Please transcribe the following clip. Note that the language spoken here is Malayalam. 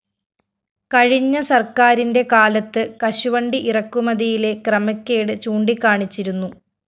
കഴിഞ്ഞ സര്‍ക്കാരിന്റെ കാലത്ത് കശുവണ്ടി ഇറക്കുമതിയിലെ ക്രമക്കേട് ചൂണ്ടിക്കാണിച്ചിരുന്നു